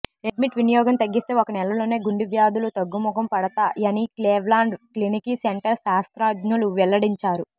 red meat వినియోగం తగ్గిస్తే ఒక నెలలోనే గుండె వ్యాధులు తగ్గుముఖం పడతా యని క్లీవ్లాండ్ క్లినిక్ సెంటర్ శాస్త్రజ్ఞులు వెల్లడించారు